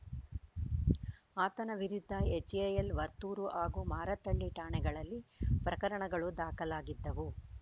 ಆತನ ವಿರುದ್ಧ ಎಚ್‌ಎಎಲ್‌ ವರ್ತೂರು ಹಾಗೂ ಮಾರತ್ತಹಳ್ಳಿ ಠಾಣೆಗಳಲ್ಲಿ ಪ್ರಕರಣಗಳು ದಾಖಲಾಗಿದ್ದವು